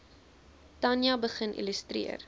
tanja begin illustreer